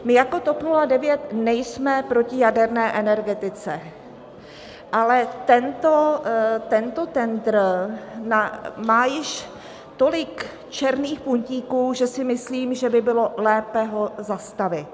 My jako TOP 09 nejsme proti jaderné energetice, ale tento tendr má již tolik černých puntíků, že si myslím, že by bylo lépe ho zastavit.